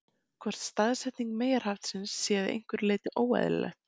Hvort staðsetning meyjarhaftsins sé að einhverju leyti óeðlilegt?